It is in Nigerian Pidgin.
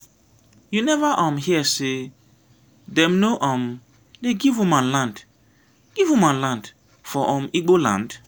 you neva um hear sey dem no um dey give woman land give woman land for um igbo land?